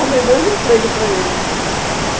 Arrumei dois empregos para ele, né.